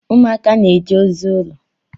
Ụmụaka na-eje ozi ụlọ.